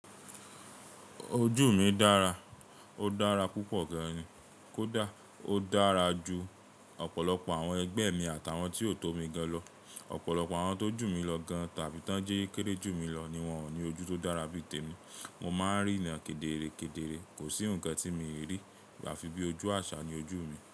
Ojú mi dára, ó dára púpọ̀ gan ni, kódà ó dára ju ọ̀pọ̀lọpọ̀ àwọn ẹgbẹ́ mi àtàwọn tí ó tó mi gan lọ. Ọ̀pọ̀lọpọ̀ àwọn tó jù mí lọ gan tàbí tán jẹ́ kéré jù mí lọ ni wọ́n ò ní ojú tó dára bí i tèmi. Mo máa ń rí ran kedere kedere, kò sí ǹkan tí mi rí a fi bí ojú àṣà ni ojú mi.